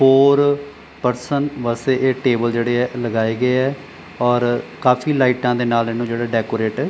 ਹੋਰ ਪਰਸਨ ਵਾਸਤੇ ਇਹ ਟੇਬਲ ਜਿਹੜੇ ਆ ਲਗਾਏ ਗਏ ਆ ਔਰ ਕਾਫੀ ਲਾਈਟਾਂ ਦੇ ਨਾਲ ਇਹਨੂੰ ਜਿਹੜਾ ਡੈਕੋਰੇਟ --